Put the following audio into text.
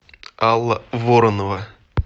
алла воронова